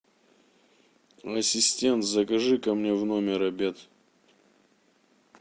ассистент закажи ка мне в номер обед